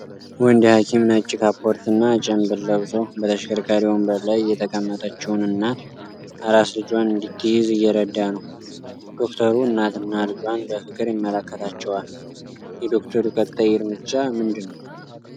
ወንድ ሐኪም ነጭ ካፖርትና ጭምብል ለብሶ በተሽከርካሪ ወንበር ላይ የተቀመጠችውን እናት አራስ ልጇን እንድትይዝ እየረዳ ነው። ዶክተሩ እናትና ልጇን በፍቅር ይመለከታቸዋል። የዶክተሩ ቀጣይ እርምጃ ምንድነው?